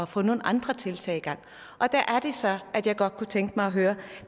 få nogle andre tiltag i gang og der er det så at jeg godt kunne tænke mig at høre